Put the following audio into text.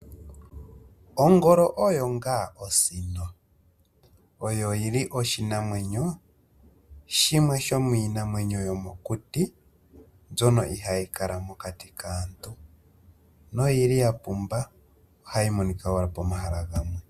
Ongolo oyo ngaa osino. Oyo yili oshinamwenyo shimwe shomii namwenyo yomo kuti, mbyono ihayi kala mokati kaantu noyili ya pumba. Ohayi monika woo nawa poma hala gamwe.